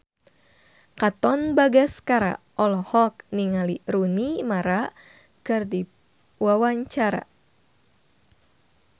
Katon Bagaskara olohok ningali Rooney Mara keur diwawancara